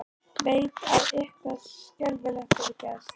Veit að eitthvað skelfilegt hefur gerst.